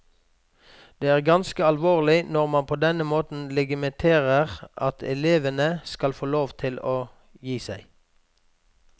Det er ganske alvorlig når man på denne måten legitimerer at elevene skal få lov til å gi seg.